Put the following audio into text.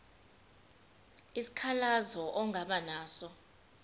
isikhalazo ongaba naso